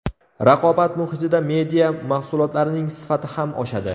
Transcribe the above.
Raqobat muhitida media mahsulotlarning sifati ham oshadi.